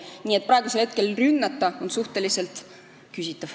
Nii et praegune rünnak on suhteliselt küsitav.